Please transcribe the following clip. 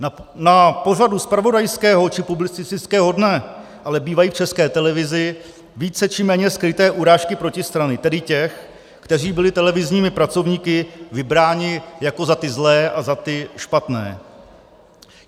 Na pořadu zpravodajského či publicistického dne ale bývají v České televizi více či méně skryté urážky protistrany, tedy těch, kteří byli televizními pracovníky vybráni jako za ty zlé a za ty špatné.